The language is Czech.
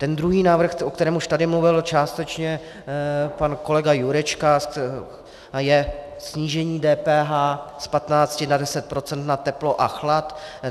Ten druhý návrh, o kterém už tady mluvil částečně pan kolega Jurečka, je snížení DPH z 15 na 10 % na teplo a chlad.